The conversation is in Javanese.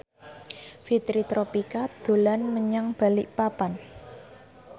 Fitri Tropika dolan menyang Balikpapan